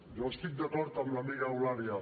jo estic d’acord amb l’amiga eulàlia